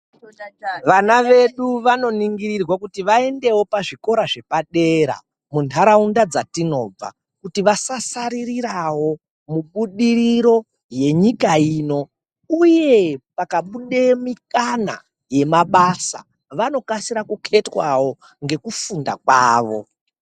Vana vedu vanoringirirwa kuti vaendewo pazvikora zvepadera muntaraunda dzatinobva kuti vasasaririrawo mubudiriro yenyika ino uye pakabude mukana yemabasa vanokasire kuketwawo ngekufunda kwavo .